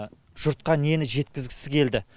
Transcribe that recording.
жұртқа нені жеткізгісі келді